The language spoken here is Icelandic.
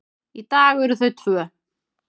Í dag eru þau tvö.